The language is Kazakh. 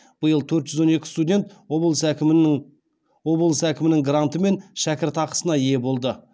биыл төрт жүз он екі студент облыс әкімінің гранты мен шәкіртақысына ие болды